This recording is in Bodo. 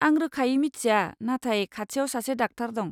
आं रोखायै मिथिया, नाथाय खाथियाव सासे डाक्टार दं।